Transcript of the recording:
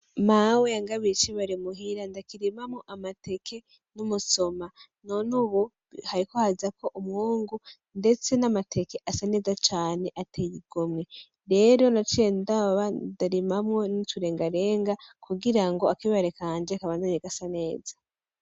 Mawe yangabiye icibare muhira ndakirima mwo amateke n'umusoma none ubu hariko hazako umwungu ndetse n'amateke asa neza cane ateye igomwe rero naciye ndaba ndarima mwo n'uturengarenga kugira ngo akibare kanje kabandanye gasa neza.